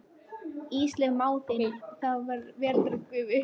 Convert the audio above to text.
Ísleif mág þinn, þá veraldarinnar gufu.